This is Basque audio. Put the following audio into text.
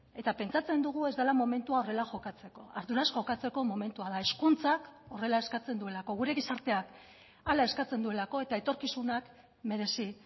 eta pentsatzen dugu ez dela momentua horrela jokatzeko arduraz jokatzeko momentua da hezkuntzak horrela eskatzen duelako gure gizarteak hala eskatzen duelako eta etorkizunak merezi